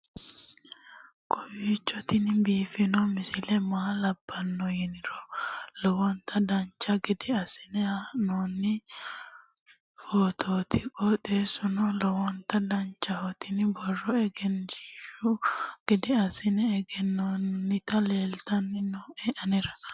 kowiicho tini biiffanno misile maa labbanno yiniro lowonta dancha gede assine haa'noonni foototi qoxeessuno lowonta danachaho. tini borro egenshshiishu gede assine gannoonniti leeltanni nooe anera